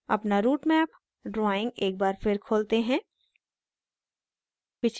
अपना routemap drawing एक बार फिर खोलते हैं